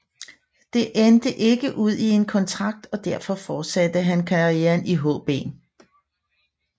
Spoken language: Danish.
Det endt ikke ud i en kontrakt og derfor fortsatte han karrieren i HB